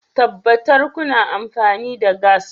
Tabbatar kuna amfani da gas